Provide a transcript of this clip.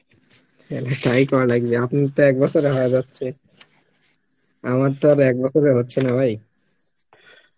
তাহলে তাই করা লাগবে আপনি তো এক বছর এ হয়ে যাচ্ছে আমার তো আর একবছর এ হচ্ছে না ভাই